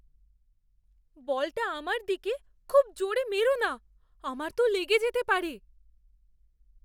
বলটা আমার দিকে খুব জোরে মেরো না। আমার তো লেগে যেতে পারে।